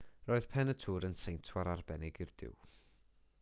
roedd pen y tŵr yn seintwar arbennig i'r duw